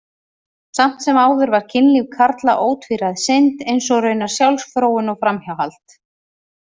Samt sem áður var kynlíf karla ótvíræð synd, eins og raunar sjálfsfróun og framhjáhald.